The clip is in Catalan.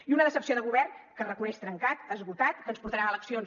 i una decepció de govern que es reconeix trencat esgotat que ens portarà a eleccions